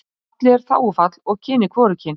Fallið er þágufall og kynið hvorugkyn.